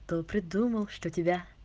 кто придумал что тебя